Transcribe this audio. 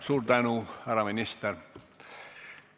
Suur tänu, härra minister!